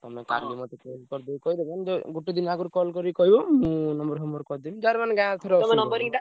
ତମେ କାଲି ମତେ phone କରିଦେଇ କହିଦବ ଗୋଟେ ଦିନ ଆଗୁରୁ call କରି କହିବ ମୁଁ number ଫମ୍ବର କରିଦେବି, ଯାହାର ମାନେ ଗାଁ ।